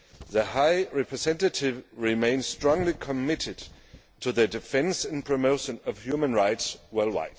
The High Representative remains strongly committed to the defence and promotion of human rights worldwide.